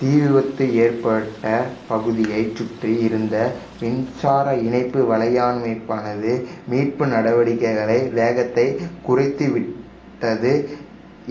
தீவிபத்து ஏற்பட்ட பகுதியைச் சுற்றி இருந்த மின்சார இணைப்பு வலையமைப்பானது மீட்பு நடவடிக்கைகளின் வேகத்தைக் குறைத்துவிட்டது